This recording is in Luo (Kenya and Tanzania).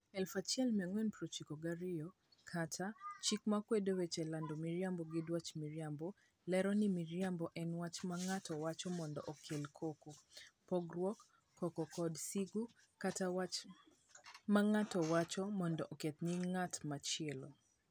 1492 kata "Chik Makwedo Wach Lando Miriambo gi Dwach Maricho", lero ni miriambo en "wach ma ng'ato wacho mondo okel koko, pogruok, koko, kod sigu, kata wach ma ng'ato wacho mondo oketh nying' ng'at machielo".